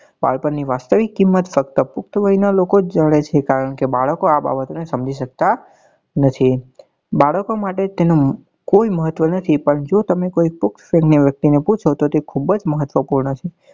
બાળપણ ની વાસ્તવિક કિંમત ફક્ત પુખ્ત વય નાં લોકો જ જાને છે કારણ કે બાળકો આ બાબતો ને સમજી સકતા નથી બાળકો માટે તેનું કોઈ મહત્વ નથી પણ જો તમે કોઈ પ્પુખ્તવ્ય વ્યક્તિ ને પૂછો તો તે ખુબ મહત્વ પૂર્ણ છે